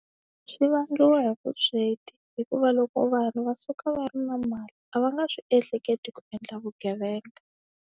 Swi vangiwa hi vusweti hikuva loko vanhu va suka va ri na mali a va nga swi ehleketi ku endla vugevenga.